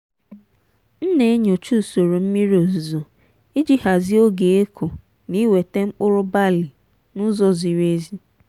m na-enyocha usoro mmiri ozuzo iji hazie oge ịkụ na iweta mkpụrụ balị n'ụzọ ziri ezi.